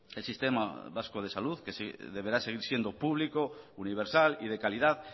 el sistema vasco de salud que deberá seguir siendo público universal y de calidad